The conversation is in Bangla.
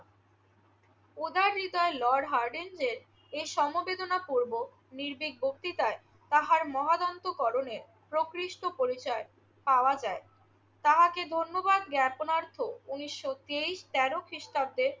উদয়নিতায় লর্ড হর্ডিঞ্জের এ সমবেদনাপূর্বক নির্ভীক বক্তৃতায় তাহার মহাদন্তকরণের প্রকৃষ্ট পরিচয় পাওয়া যায়। তাহাকে ধন্যবাদ জ্ঞাপনার্থে উনিশশো তেইশ তেরো খ্রিষ্টাব্দের